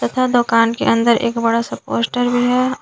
यह दुकान के अंदर एक बड़ा सा पोस्टर भी है और--